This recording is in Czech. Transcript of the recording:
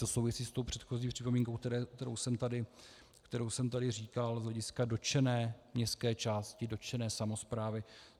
To souvisí s tou předchozí připomínkou, kterou jsem tady říkal z hlediska dotčené městské části, dotčené samosprávy.